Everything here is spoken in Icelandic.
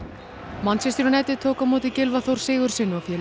manchester United tók á móti Gylfa Þór Sigurðssyni og félögum